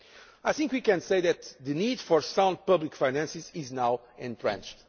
past. I think we can say that the need for sound public finances is now entrenched.